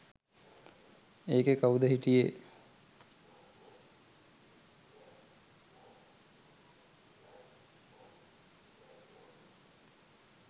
ඒකෙ කවුද හිටියේ